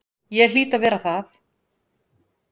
Ég hlýt að vera það.